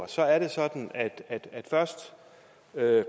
så er det sådan at først